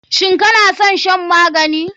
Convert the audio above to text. Shin kanason shan magani?